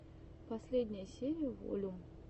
последняя серия волюм